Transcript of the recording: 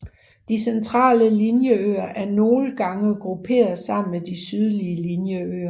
De Centrale Linjeøer er nogle gange grupperet sammen med de sydlige Linjeøer